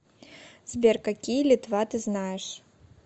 сбер какие литва ты знаешь